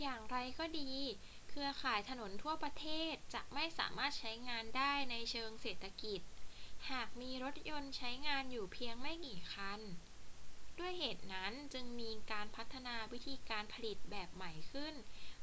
อย่างไรก็ดี เครือข่ายถนนทั่วประเทศจะไม่สามารถใช้งานได้ในเชิงเศรษฐกิจหากมีรถยนต์ใช้งานอยู่เพียงไม่กี่คัน ด้วยเหตุนั้นจึงมีการพัฒนาวิธีการผลิตแบบใหม่ขึ้น